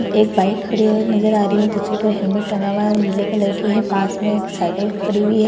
एक बाइक खड़ी है नजर आ रही है जिसके उपर हेलमेट टंगा हुआ है वो नीले कलर की है पास में एक साइकिल खड़ी हुई है।